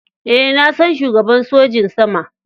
Eh, na san shugaban sojin sama.